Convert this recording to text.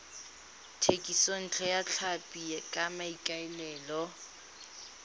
thekisontle ya tlhapi ka maikaelelo